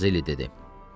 Mazelli dedi.